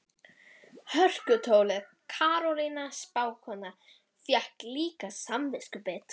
Fötin eins og smurð með smjörlíki, buxurnar dökkar í klofbótina.